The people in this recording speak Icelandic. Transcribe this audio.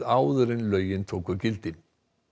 áður en lögin tóku gildi